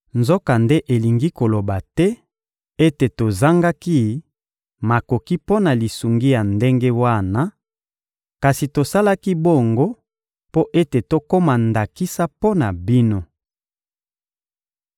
Nzokande elingi koloba te ete tozangaki makoki mpo na lisungi ya ndenge wana, kasi tosalaki bongo mpo ete tokoma ndakisa mpo na bino.